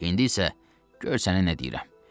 İndi isə gör səninə nə deyirəm.